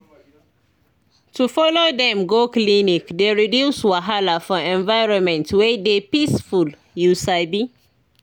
to follow dem go clinic dey reduce wahala for environment wey dey peaceful you sabi